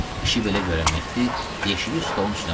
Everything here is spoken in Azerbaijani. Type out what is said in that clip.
İşi belə görən Mehdi yeşiyi stolun üstünə qoydu.